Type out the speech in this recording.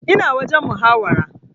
Ina wajen muhawara